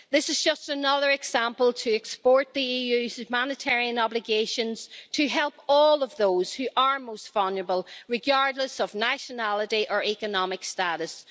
This is just another example of exporting the EU's humanitarian obligations to help all of those who are most vulnerable, regardless of nationality or economic status.